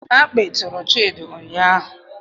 Akpị tụrụ Chidi ụnyahụ